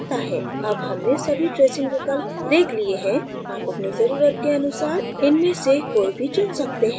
अब हमने सभी tracing विकल्प देख लिए हैं आप अपनी ज़रुरत के अनुसार इनमें से कोई भी चुन सकते हैं